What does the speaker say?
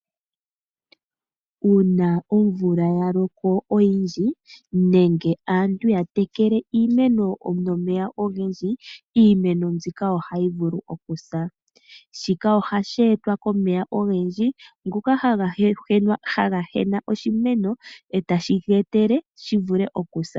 Uuna omvula ya loko oyindji nenge aantu ya tekele iimeno nomeya ogendji iimeno mbika ohayi vulu okusa. Shika ohashi etwa komeya ogendji ngoka haga hena oshimeno etashi geetele shi vule okusa.